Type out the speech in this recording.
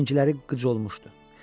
Əngləri qıc olmuşdu.